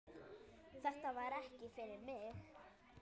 Þetta var ekki fyrir mig